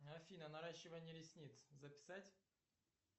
афина наращивание ресниц записать